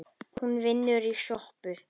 Hún vinnur í sjoppu